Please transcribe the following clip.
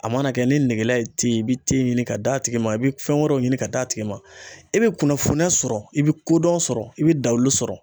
A mana kɛ ni nɛgɛla ye ye, i bi ɲini ka d'a tigi ma, i be fɛn wɛrɛw ɲini ka d'a tigi ma .I bE kunnafoniya sɔrɔ i bE kodɔn sɔrɔ ,i be dawulu sɔrɔ.